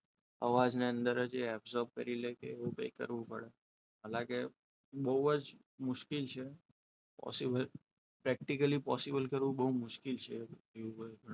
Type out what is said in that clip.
અવાજને અંદર જ absorb કરી લે એવું કંઈક કરવું પડે હાલા કે બહુ જ મુશ્કેલ છે possiblepractically possible કરવું બહુ મુશ્કેલ છે.